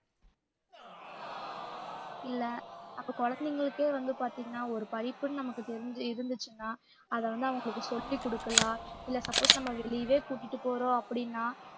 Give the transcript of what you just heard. இல்ல அப்ப குழந்தைங்களுக்கே வந்து பாத்தீங்கன்னா ஒரு படிப்புன்னு நமக்குதெரிஞ்சி~ இருந்துச்சுன்னா அத வந்து அவங்களுக்கு சொல்லிக் குடுக்கலாம் இல்ல suppose நம்ம வெளியவே கூட்டிட்டு போறோம் அப்பிடின்னா